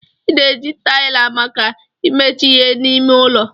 Ị na-eji taịlị maka imecha ihe n'ime ụlọ.